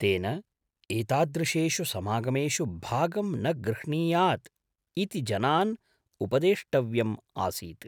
तेन, एतादृशेषु समागमेषु भागं न गृह्णीयात् इति जनान् उपदेष्टव्यम् आसीत्।